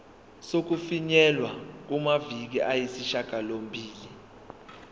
sokufinyelela kumaviki ayisishagalombili